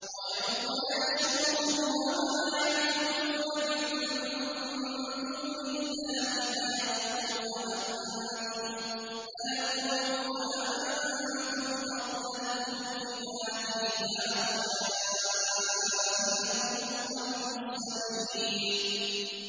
وَيَوْمَ يَحْشُرُهُمْ وَمَا يَعْبُدُونَ مِن دُونِ اللَّهِ فَيَقُولُ أَأَنتُمْ أَضْلَلْتُمْ عِبَادِي هَٰؤُلَاءِ أَمْ هُمْ ضَلُّوا السَّبِيلَ